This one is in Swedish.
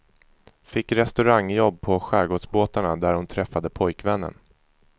Fick restaurangjobb på skärgårdsbåtarna där hon träffade pojkvännen.